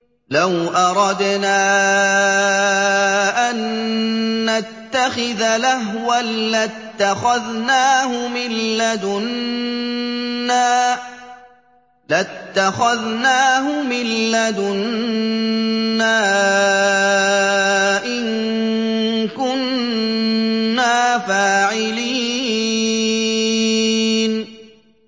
لَوْ أَرَدْنَا أَن نَّتَّخِذَ لَهْوًا لَّاتَّخَذْنَاهُ مِن لَّدُنَّا إِن كُنَّا فَاعِلِينَ